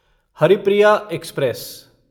Haripriya express